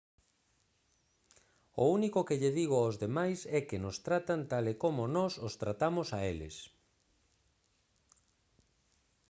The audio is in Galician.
o único que lle digo aos demais é que nos tratan tal e como nós os tratamos a eles